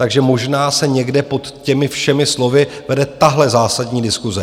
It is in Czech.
Takže možná se někde pod těmi všemi slovy vede tahle zásadní diskuse.